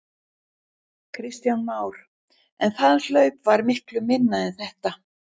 Kristján Már: En það hlaup var miklu minna en þetta?